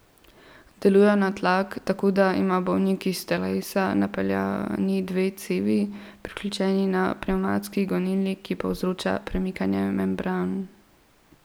Delujejo na tlak, tako da ima bolnik iz telesa napeljani dve cevi, priključeni na pnevmatski gonilnik, ki povzroča premikanje membran.